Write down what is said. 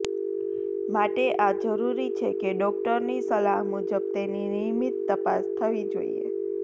માટે આ જરૂરી છે કે ડોક્ટર ની સલાહ મુજબ તેની નિયમિત તપાસ થવી જોઈએ